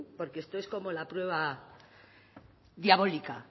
porque esto es como la prueba diabólica